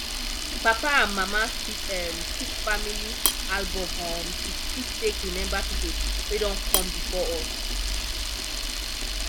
papa and mama fit um keep family album um to fit take remember people wey don come before us